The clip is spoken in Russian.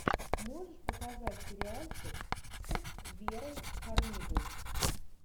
можешь показать сериальчик с верой фармигой